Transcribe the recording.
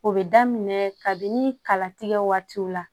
O bɛ daminɛ kabini kalatigɛ waatiw la